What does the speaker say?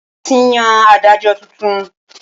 Wọn ti yàn Ádájọ́ tuntun.